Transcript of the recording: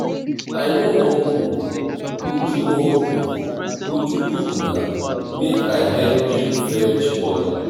i no wan cook uju wan cook uju cook na make i help you fetch water